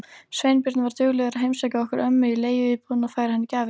Sveinbjörn var duglegur að heimsækja okkur mömmu í leiguíbúðina og færa henni gjafir.